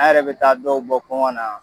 A' yɛrɛ bɛ taa dɔw bɔ kɔngɔn na.